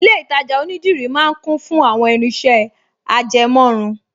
Ilé-ìtajà onídìrí máa ń kún fún àwọn irinṣẹ́ ajẹmọ́run